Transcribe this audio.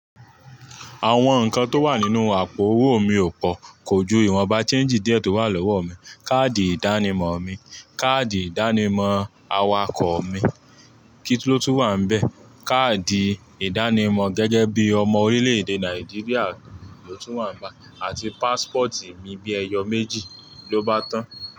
Àwọn nǹkan tó wà nínú àpò owó mi ò pò, kò ju ìwọ̀n bàá change díẹ̀ tó wà lọ́wọ́ mi, káàdì ìdánimọ̀ mi, káàdì ìdánimọ̀ awakọ̀ mi kí tun lo tún wà níbẹ̀? Káàdì ìdánimọ̀ gẹ́gẹ́ bí ọmọ orílẹ̀-èdè Nàìjíríà ló tún wà nbe, àti passport mi bí ẹyọ méjì ló bá tán.